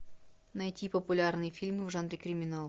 найти популярные фильмы в жанре криминал